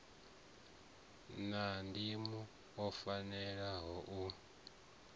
a ndimo o fanelaho u